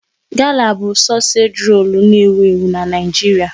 Gala bụ sosage rolu n'ewu ewu n'Naijiria